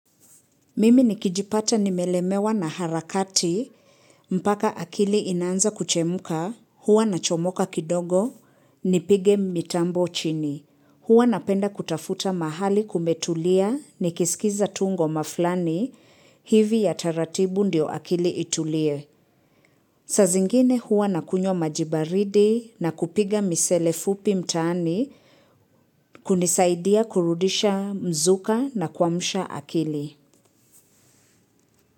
Mimi nikijipata nimelemewa na harakati, mpaka akili inaanza kuchemka, huwa na chomoka kidogo, nipige mitambo chini. Huwa napenda kutafuta mahali kumetulia, nikiskiza tu ngoma flani, hivi ya taratibu ndio akili itulie. Saa zingine huwa nakunyo maji baridi na kupiga misele fupi mtaani, kunisaidia kurudisha mzuka na kwamsha akili.